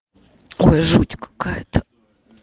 жуть какая-то